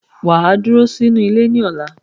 Waa duro ninu ile ni ola.